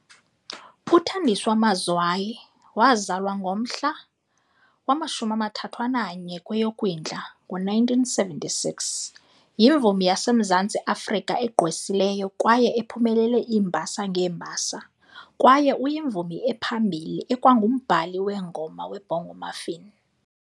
UThandiswa Mazwai, wazalwa ngomhla wama-31 kweyoKwindla ngo1976, yimvumi yaseMzantsi Afrika egqwesileyo kwaye ephumelele iimbasa ngeembasa, kwaye uyimvumi ephambili ekwangumbhali weengoma weBongo Maffin.